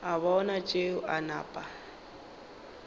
a bona tšeo a napa